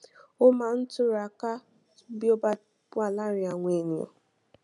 ó máa ń túraká bí ó bá wà láàárín àwọn ènìyàn